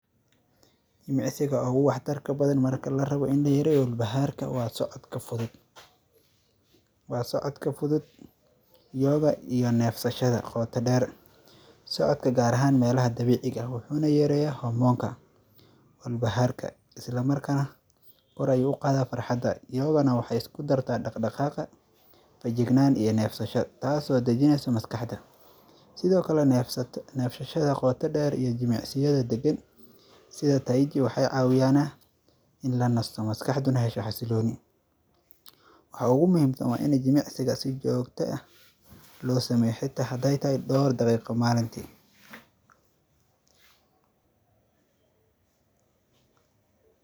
Jimicsiga uga waxtarka badan marka larabo in layareeyo walbahaarka waa socodka fudud. Waa socodka fudud yoga iyo neefsashada qota dheer socodka gaar ahan meelaha dabiiciga ah waxuuna yareeya hormoonka walbahaarka isla markana kor ayuu uqaada farxada yogana waxe isku dartaa dhaqdhaqaaqa feejignaan iyo neefsasho taaso dajineysa maskaxda sidoo kale neefsashada qoto dheer iyo jimicsiyada degan sida taichi waxee caawiyaane in lanasto maskaxdana hesho xasilooni waxa ugu muhiimsan waa in jimicsiga si joogte eh loo sameeyo xita hadee tahay dhowr daqiiqo maalintii.